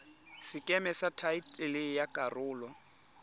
sekeme sa thaetlele ya karolo